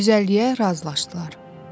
150-yə razılaşdılar.